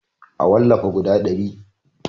A wallafa guda ɗari